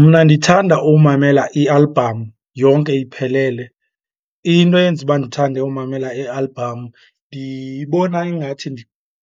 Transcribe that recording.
Mna ndithanda umamela i-album yonke iphelele. Into eyenza uba ndithande umamela i-album ndiyibona ingathi